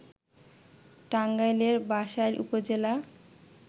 টাঙ্গাইলের বাসাইল উপজেলা